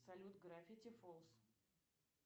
салют граффити фолс